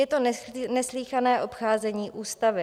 Je to neslýchané obcházení ústavy.